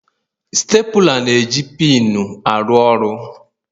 Stapula na-eji pinu aru ọrụ.